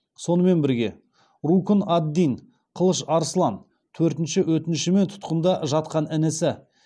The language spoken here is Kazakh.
сонымен бірге рукн ад дин қылыш арсылан төртінші өтінішімен тұтқында жатқан інісі